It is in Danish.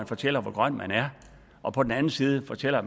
fortæller hvor grøn man er og på den anden side fortæller